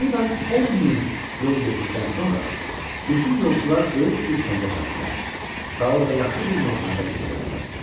Təqribən 10 mil yol getdikdən sonra, bizim yolçular böyük bir kəndə çatdılar və orada yaxşı bir meyxanada gecələdilər.